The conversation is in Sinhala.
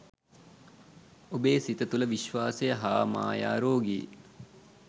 ඔබේ සිත තුළ විශ්වාසය හා මායා රෝගී